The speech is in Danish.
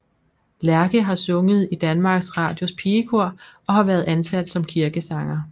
Lerche har sunget i Danmarks Radios Pigekor og har været ansat som kirkesanger